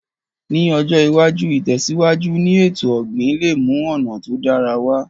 Ní ọjọ́ iwájú, ìtẹ̀síwájú ni èto ọ̀gbìn le mú ọ̀nà to dára wa